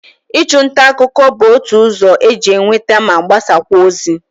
Ịchụ nta akụkụ bụ otu ụzọ e ji enweta ma gbasakwa ozi.